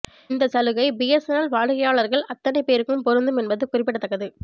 இந்த சலுகை பிஎஸ்என்எல் வாடிக்கையாளர்கள் அத்தனைப் பேருக்கும் பொருந்தும் என்பது குறிப்பிடத்தக்கது